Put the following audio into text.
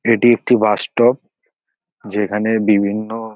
এটি একটি bus stop যেখানে বিভিন্ন--